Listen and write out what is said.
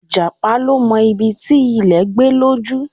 Ìjàpá ló mọ ibi ti ilè gbé lójú